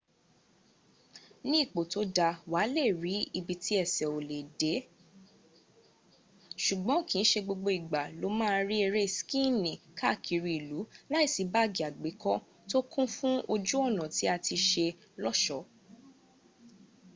ní ipò tó dáa wàá lé de ibi tí ęsẹ̀ ò lè dé - ṣùgbọ́n kìí ṣe gbogbo ìgbà lo ma ri eré skiini kaa kiri ilu láìsí báàgì àgbékọ́ tó kún fún ojú ọ̀nà tí a ti ṣe lọ́ṣọ́